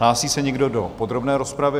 Hlásí se někdo do podrobné rozpravy?